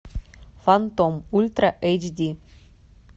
фантом ультра эйч ди